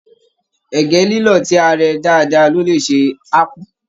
Ẹgẹ lilọ tí a rẹ dáadáa lo lẹ sè akpu.